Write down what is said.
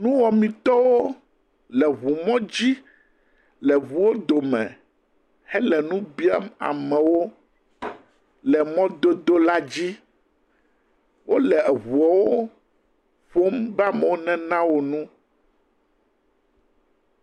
Nuwɔmetɔwo le ʋu mɔdzi le ʋuo dome he le nu biam amewo le mɔdodo la dzi. Wole eʋuɔwo ƒom be amewo nena wo nu.